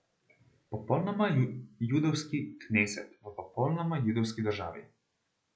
Popolnoma judovski kneset v popolnoma judovski državi.